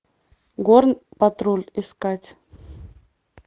горн патруль искать